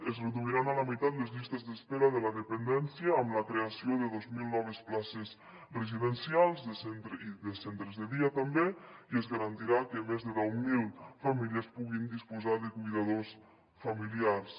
es reduiran a la meitat les llistes d’espera de la dependència amb la creació de dos mil noves places residencials i de centres de dia també i es garantirà que més de deu mil famílies puguin disposar de cuidadors familiars